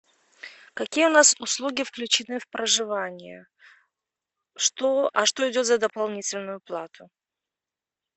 какие у нас услуги включены в проживание что а что идет за дополнительную плату